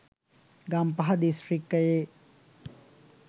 ගම්පහ දිස්‌ත්‍රික්‌කයේ